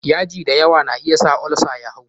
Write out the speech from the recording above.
yaji da yawa na iya sa olsa ya hau.